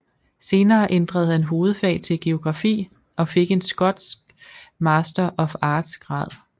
Senere ændrede han hovedfag til geografi og fik en skotsk Master of Arts grad